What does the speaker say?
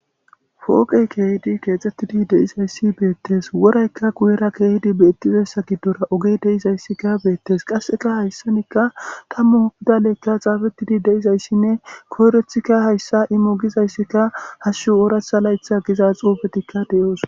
fooqey keehidi keexxettidi de'izayssi beettes woraykka kuyera keehidi beettizessa giddora ogey de'izayssika beettes qasseka hayssanikka tammu bidaleykka xaafettidi deizayssinne koyrethikka hayssa immo gizayssikka hashshu ooratha laytha giza xuubetikka deyoos